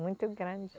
Muito grande.